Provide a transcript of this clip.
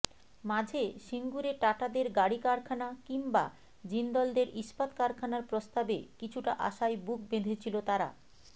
মাঝে সিঙ্গুরে টাটাদের গাড়ি কারখানা কিংবা জিন্দলদের ইস্পাত কারখানার প্রস্তাবে কিছুটা আশায় বুক বেঁধেছিল তারা